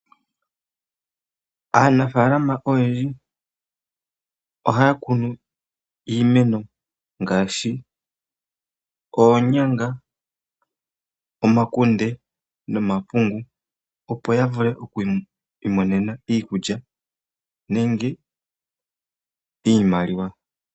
Aanafaalama oyendji ohaya kunu iimeno ngaashi oonyanga, omakunde nomapungu opo ya vule okwiimonena iikulya nenge iimaliwa.